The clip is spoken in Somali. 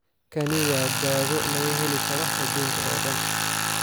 Kani waa dawo laga heli karo aduunka oo dhan.